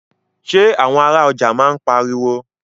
Ṣé àwọn ará ọjà máa ń pariwo.